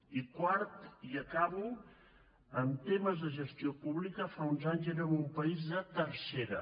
i quart i acabo en temes de gestió pública fa uns anys érem un país de tercera